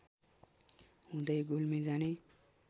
हुँदै गुल्मी जाने